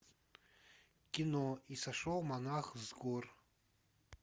кино и сошел монах с гор